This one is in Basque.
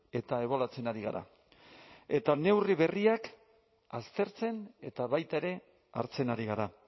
eta ebaluatzen ari gara eta neurri berriak aztertzen eta baita ere hartzen ari gara